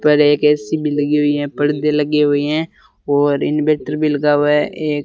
पर एक ए_सी भी लगी हुई है। पर्दे लगे हुए हैं और इनवर्टर भी लगा हुआ है एक--